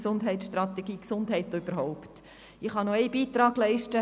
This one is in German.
Ich kann auch noch einen Beitrag leisten: